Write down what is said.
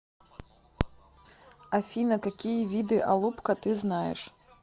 афина какие виды алупка ты знаешь